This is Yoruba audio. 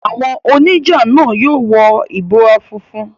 Àwọn oníjà náà yóò wọ ìbora funfun.